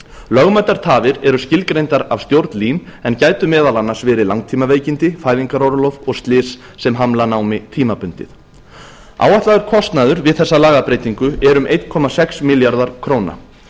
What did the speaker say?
lögmætar tafir eru skilgreindar af stjórn lín en gætu meðal annars verið langtímaveikindi fæðingarorlof og slys sem hamla námi tímabundið áætlaður kostnaður við þessa lagabreytingu er um einn komma sex milljarðar króna